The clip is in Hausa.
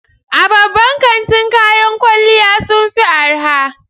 A babban kantin kayan kwalliya sun fi arha